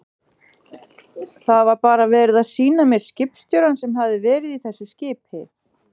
Það var bara verið að sýna mér skipstjórann sem hafði verið í þessu skipi.